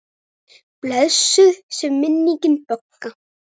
Blessuð sé minning Bögga.